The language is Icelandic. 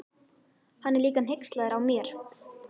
Hann er líka hneykslaður á mér.